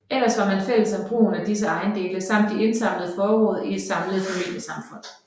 Ellers var man fælles om brugen af disse ejendele samt de indsamlede forråd i et samlet familiesamfund